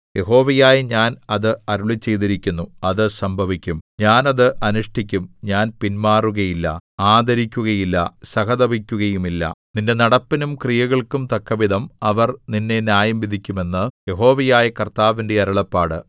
യഹോവയായ ഞാൻ അത് അരുളിച്ചെയ്തിരിക്കുന്നു അത് സംഭവിക്കും ഞാൻ അത് അനുഷ്ഠിക്കും ഞാൻ പിന്മാറുകയില്ല ആദരിക്കുകയില്ല സഹതപിക്കുകയുമില്ല നിന്റെ നടപ്പിനും ക്രിയകൾക്കും തക്കവിധം അവർ നിന്നെ ന്യായംവിധിക്കും എന്ന് യഹോവയായ കർത്താവിന്റെ അരുളപ്പാട്